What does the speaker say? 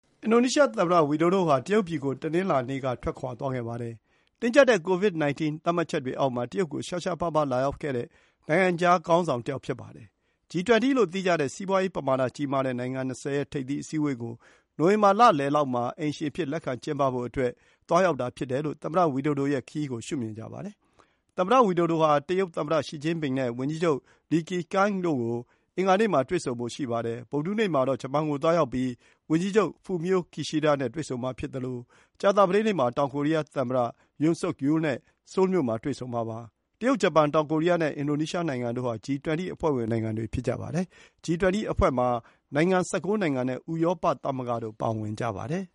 အင်ဒိုနီးရှားသမ္မတ ဝီဒိုဒိုဟာ တရုတ်ပြည်ကို တနင်္လာနေ့က ထွက်ခွါသွားခဲ့ပါတယ်။ တင်းကျပ်တဲ့ ကိုဗစ် 19 သတ်မှတ်ချက်တွေအောက်မှာ တရုတ်ကို ရှားရှားပါးပါး လာရောက်တဲ့ နိုင်ငံခြားခေါင်းဆောင်တယောက် ဖြစ်ပါတယ်။ G 20 လို့ သိကြတဲ့ စီးပွါးရေးပမာဏ ကြီးမားတဲ့ နိုင်ငံ၂၀ ရဲ့ ထိပ်သီးအစည်းအဝေးကို နိုဝင်ဘာလလယ်လောက်မှာ အိမ်ရှင်အဖြစ် လက်ခံကျင်းပဖို့အတွက် သွားရောက်တာ ဖြစ်တယ်လို့ သမ္မတဝီဒိုဒိုရဲ့ခရီးကို ရှုမြင်ကြပါတယ်။ သမ္မတ ဝီဒိုဒိုဟာ တရုတ်သမ္မတ Xi Jinping (ရှီကျင်းပင်) နဲ့ ဝန်ကြီးချုပ် Li Keqiang ကို အင်္ဂါနေ့မှာ တွေ့ဆုံဖို့ရှိပါတယ်။ ဗုဒ္ဓဟူးနေ့မှာတော့ ဂျပန်ကို သွားရောက်ပြီး ဝန်ကြီးချုပ် Fumio Kishida နဲ့ တွေ့ဆုံမှာဖြစ်သလို ကြာသပတေးနေ့မှာ တောင်ကိုရီးယားသမ္မတ Yoon Suk Yeol နဲ့ ဆိုးလ်မြို့ မှာ တွေ့ဆုံမှာပါ။ တရုတ်၊ ဂျပန်၊ တောင်ကိုရီးယားနဲ့ အင်ဒိုနီးရှားနိုင်ငံတို့ဟာ G 20 အဖွဲ့ဝင် နိုင်ငံတွေ ဖြစ်ကြပါတယ်။ G 20 အဖွဲ့မှာ နိုင်ငံ ၁၉ နိုင်ငံနဲ့ ဥရောပသမဂ္ဂတို့ ပါဝင်ကြပါတယ်